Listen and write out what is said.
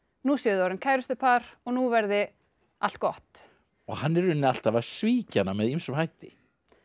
nú séu þau orðin kærustupar og nú verði allt gott hann er í rauninni alltaf að svíkja hana með ýmsum hætti